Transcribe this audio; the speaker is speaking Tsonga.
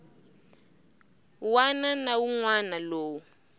wana na wun wana lowu